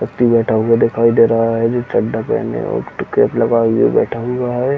व्यक्ति बैठा हुआ दिखाई दे रहा है जिसका चड्डा पेहने और कैप लगाए हुए बैठा हुआ है।